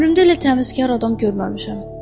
Ömrümdə elə təmizkar adam görməmişəm.